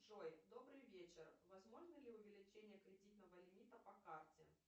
джой добрый вечер возможно ли увеличение кредитного лимита по карте